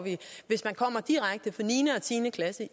er direkte fra niende og tiende klasse i